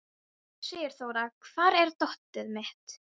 Sigurþóra, hvar er dótið mitt?